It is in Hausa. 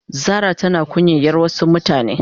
Zara tana kunyan yar Wasu mutane.